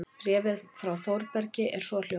Bréfið frá Þórbergi er svohljóðandi